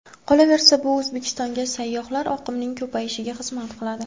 Qolaversa, bu O‘zbekistonga sayyohlar oqimining ko‘payishiga xizmat qiladi.